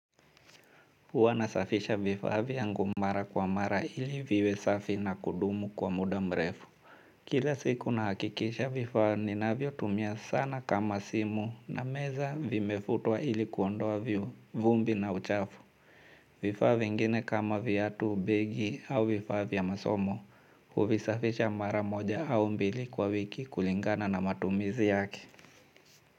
Huwa nasafisha vifaa vyangu mara kwa mara ili viwe safi na kudumu kwa muda mrefu kila siku na hakikisha vifaa ninavyo tumia sana kama simu na meza vimefutwa ili kuondoavyo vumbi na uchafu. Vifaa vingine kama viatu begi au vifaa vya masomo huvisafisha mara moja au mbili kwa wiki kulingana na matumizi yake.